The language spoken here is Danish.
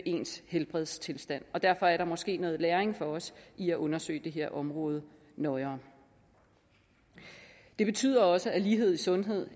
ens helbredstilstand og derfor er der måske noget læring for os i at undersøge det her område nøjere det betyder også at lighed i sundhed